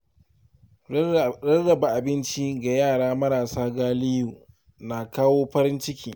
Rarraba abinci ga yara marasa galihu na kawo farin ciki.